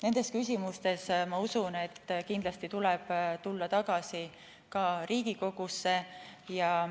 Nendes küsimustes ma usun, et kindlasti tuleb tulla tagasi ka Riigikogusse.